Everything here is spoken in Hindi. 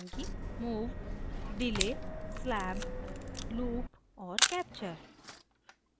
move delay slab loop और capture